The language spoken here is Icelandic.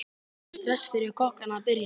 Er stress fyrir kokkana að byrja?